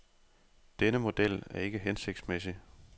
Denne model er ikke hensigtsmæssig.